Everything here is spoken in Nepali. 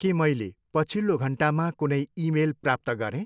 के मैले पछिल्लो घन्टामा कुनै इमेल प्राप्त गरेँ?